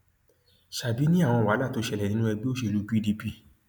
ṣábì ni àwọn wàhálà tó ṣẹlẹ nínú ẹgbẹ òṣèlú pdp